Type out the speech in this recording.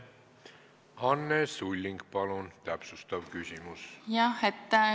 Anne Sulling, palun, täpsustav küsimus!